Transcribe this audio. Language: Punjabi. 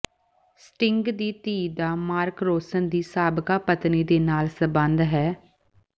ਸਟਿੰਗ ਦੀ ਧੀ ਦਾ ਮਾਰਕ ਰੋਂਸਨ ਦੀ ਸਾਬਕਾ ਪਤਨੀ ਦੇ ਨਾਲ ਸਬੰਧ ਹੈ